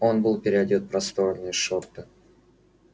он был переодет в просторные шорты